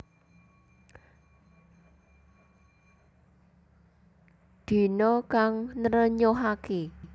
Dina kang nrenyuhaké